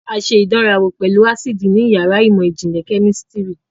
A ṣe ìdánrawò pẹ̀lú ásíìdì ní yàrá ìmọ̀ ìjìnlẹ̀ kẹ́mísítìrì.